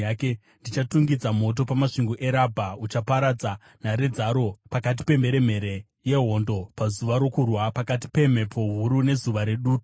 ndichatungidza moto pamasvingo eRabha uchaparadza nhare dzaro, pakati pemheremhere yehondo pazuva rokurwa, pakati pemhepo huru nezuva redutu.